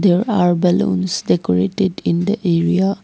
there are balloons decorated in the area.